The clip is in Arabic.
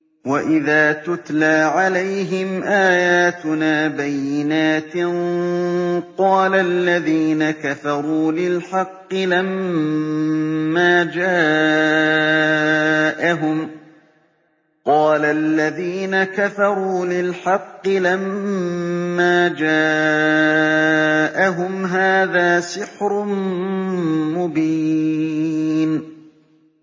وَإِذَا تُتْلَىٰ عَلَيْهِمْ آيَاتُنَا بَيِّنَاتٍ قَالَ الَّذِينَ كَفَرُوا لِلْحَقِّ لَمَّا جَاءَهُمْ هَٰذَا سِحْرٌ مُّبِينٌ